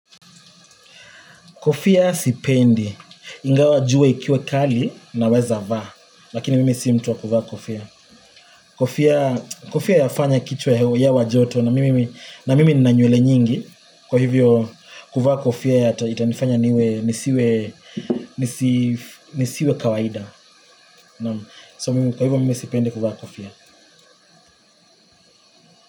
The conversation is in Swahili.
Kofia sipendi, ingawa jua ikiwa kali naweza vaa, lakini mimi si mtu wa kuvaa kofia. Kofia yafanya kichwa kujaa joto na mimi nina nywele nyingi, kwa hivyo kuvaa kofia itanifanya nisiwe kawaida. Kwa hivyo mimi sipendi kuvaa kofia.